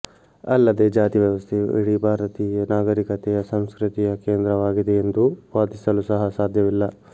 ಅಲ್ಲದೇ ಜಾತಿ ವ್ಯವಸ್ಥೆಯು ಇಡೀ ಭಾರತೀಯ ನಾಗರಿಕತೆಯ ಸಂಸ್ಕೃತಿಯ ಕೇಂದ್ರವಾಗಿದೆಯೆಂದು ವಾದಿಸಲು ಸಹ ಸಾಧ್ಯವಿಲ್ಲ